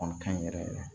Kɔni ka ɲi yɛrɛ yɛrɛ